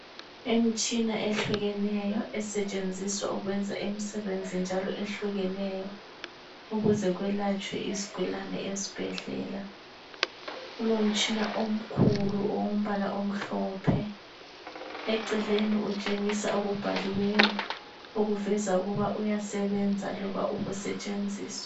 Imtshina ehlukeneyo esetshenziswa ukwenzela imisebenzi njalo ehlukeneyo ukuze kwelatshwe izigulane ezibhendlela kulomtshina omkhulu owombala omhlophe eceleni utshengisa okubhaliweyo okuveza ukuba uyasebenza loba ukusetshenziswa.